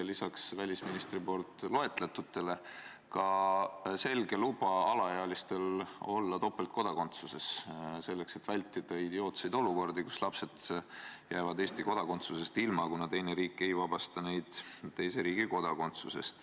Ja lisaks välisministri poolt loetletutele ka selge luba alaealistel olla topeltkodakondsusega, selleks et vältida idiootseid olukordi, kus lapsed jäävad Eesti kodakondsusest ilma, kuna teine riik ei vabasta neid oma riigi kodakondsusest.